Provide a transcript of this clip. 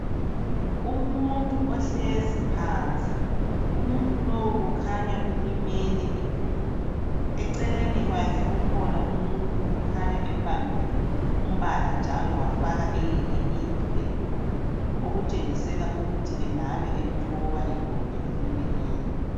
Umuntu ohlezi phansi umuntu lowu kukhanya ulimele idolo eceleni kwakhe kukhanya kukhona umuntu embambile umbala wafaka eyinye into edolo okutshengisela ukuthi engabe emthoba idolo elilimeleyo